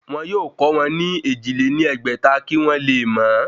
Wọn yóò kọ́ wọn ní èjì lé ní ẹgbẹ́ta kí wọ́n le mọ ọ́